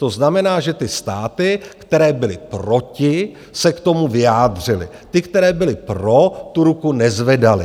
To znamená, že ty státy, které byly proti, se k tomu vyjádřily, ty, které byly pro, tu ruku nezvedaly.